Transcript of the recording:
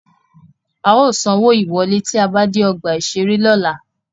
A ó sanwó ìwọ́lé tí a bá dé ọgbà-ìṣeré lọ́la